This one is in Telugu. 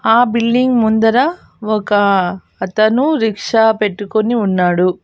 ఆ బిల్డింగ్ ముందర ఒక అతను రిక్షా పెట్టుకొని ఉన్నాడు.